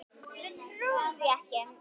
Við trúum því ekki.